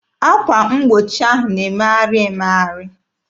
Akwa mgbochi ahụ na-emegharị emegharị.